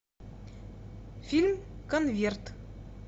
фильм конверт